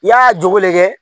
I y'a jogo le kɛ.